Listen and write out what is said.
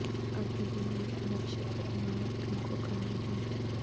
ابھی دنیا کے نقشے پر امامت تم کو کرنی ہے